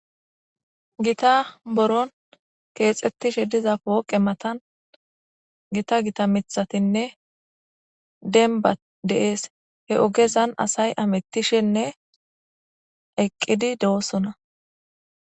gita boron keexxettishe diza pooqe matan gita gita mithatinne denba deees he ogezan asay amettishenne eqqidi de7osona